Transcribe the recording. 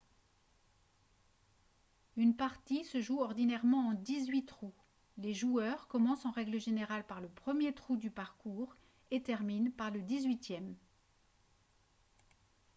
une partie se joue ordinairement en dix-huit trous les joueurs commencent en règle générale par le premier trou du parcours et terminent par le dix-huitième